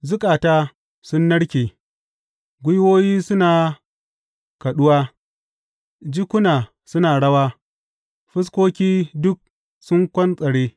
Zukata sun narke, gwiwoyi suna kaɗuwa, jikuna suna rawa, fuskoki duk sun kwantsare!